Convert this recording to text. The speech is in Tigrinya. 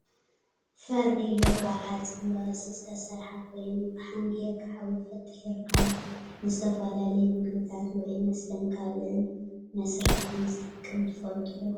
ፋርኖሎ ካብ ሓፂን ብቅርፂ ዝተሰረሓ ኮይኑ፣ ፋሓም ገይርካ ሓዊ ፈጢርካ ንዝተፈላለዩ ምግብታትን ውዑይ መስተን ካልእን መስርሒ ከምዝጠቅም ትፈልጡ ዶ ?